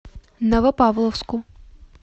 новопавловску